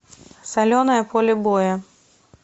соленое поле боя